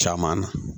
Caman na